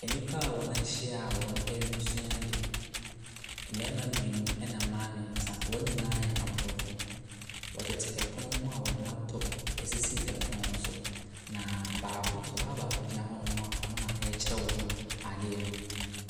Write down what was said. Ɛdan kɛseɛ bi mu asa so, akonnwa kɛseɛ bi si hɔ a sumiiɛ da mu. Carpet sɛ fam a pono si so. Pono no ahosuo no yɛ gold. Kanea bɔ soro hɔ.